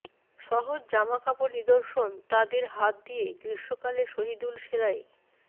সহজ জামাকাপড় নিদর্শন তাদের হাত দিয়ে গ্রীষ্মকালে শহিদুল সেলাই